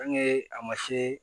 a ma se